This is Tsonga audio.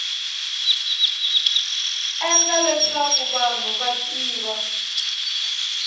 endla leswaku vanhu va tiva